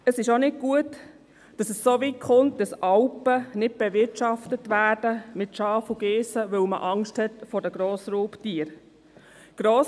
Es ist auch nicht gut, dass es so weit kommt, dass Alpen nicht mit Schafen und Geissen bewirtschaftet werden, weil man Angst vor den Grossraubtieren hat.